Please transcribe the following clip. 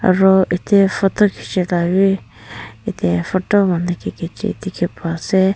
aro yatae photo khichialabi yatae photo dikhipaiase.